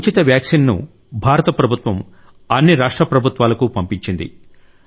ఉచిత వ్యాక్సిన్ను భారత ప్రభుత్వం అన్ని రాష్ట్ర ప్రభుత్వాలకు పంపించింది